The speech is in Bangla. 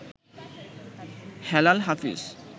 হেলাল হাফিজ